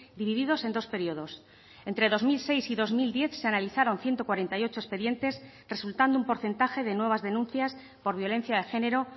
divididos en dos periodos entre dos mil seis y dos mil diez se analizaron ciento cuarenta y ocho expedientes resultando un porcentaje de nuevas denuncias por violencia de género